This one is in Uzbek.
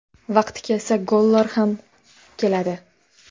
Vaqti kelsa, gollar ham keladi.